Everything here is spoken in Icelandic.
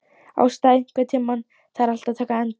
Ásta, einhvern tímann þarf allt að taka enda.